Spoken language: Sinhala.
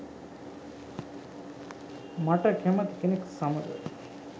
"මට කැමති කෙනෙක් සමග